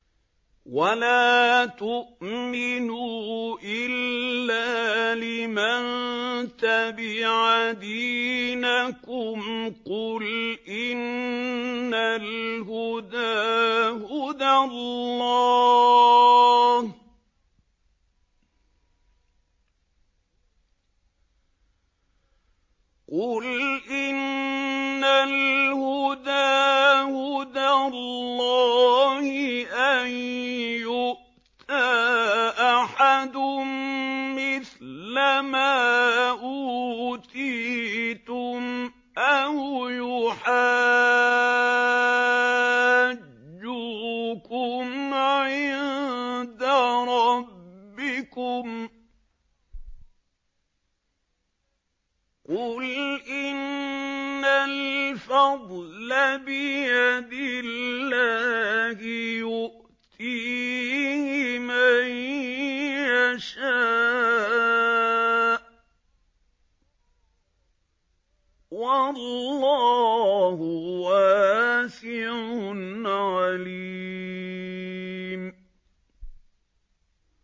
وَلَا تُؤْمِنُوا إِلَّا لِمَن تَبِعَ دِينَكُمْ قُلْ إِنَّ الْهُدَىٰ هُدَى اللَّهِ أَن يُؤْتَىٰ أَحَدٌ مِّثْلَ مَا أُوتِيتُمْ أَوْ يُحَاجُّوكُمْ عِندَ رَبِّكُمْ ۗ قُلْ إِنَّ الْفَضْلَ بِيَدِ اللَّهِ يُؤْتِيهِ مَن يَشَاءُ ۗ وَاللَّهُ وَاسِعٌ عَلِيمٌ